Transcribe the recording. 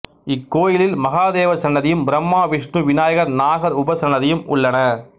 இக்கோயிலில் மகாதேவர் சன்னதியும் பிரம்மா விஷ்ணு விநாயகர் நாகர் உபசன்னதியும் உள்ளன